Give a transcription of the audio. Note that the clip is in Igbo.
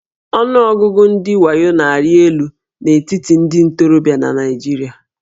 Ọnụọgụgụ ndị wayo na-arị elu n'etiti ndị ntorobịa na Naịjirịa